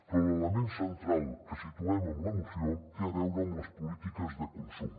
però l’element central que situem en la moció té a veure amb les polítiques de consum